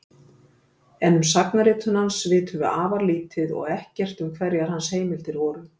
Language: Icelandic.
En um sagnaritun hans vitum afar lítið og ekkert um hverjar hans heimildir voru.